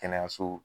Kɛnɛyaso